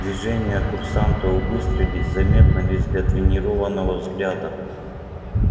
движения курсанта убыстрились заметно лишь для тренированного взгляда